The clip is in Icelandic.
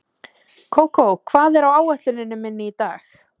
Kókó, hvað er á áætluninni minni í dag?